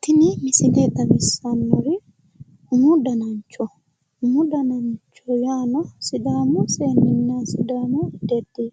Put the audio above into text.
tini misile xawissannori umu danancho umu dananchi yaano sidaamu seenni sidaamu deddi